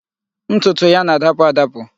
Ntutu ya na-adapụ adapụ